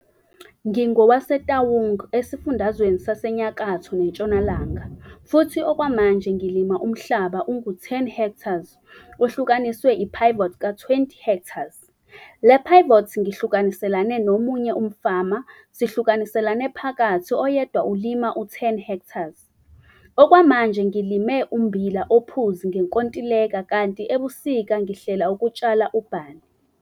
NgingowaseTaung eSifundazweni saseNyakatho neNtshonalanga futhi okwamanje ngilima umhlaba ungu-10 ha ohlukaniswe i-pivot ka-20 ha. Le-pivot ngihlukaniselane nomunye umfama sihlukaniselane phakathi oyedwa ulima u-10 ha. Okwamanje ngilime umbila ophuzi ngenkontileka kanti ebusika ngihlela ukutshala u-barley.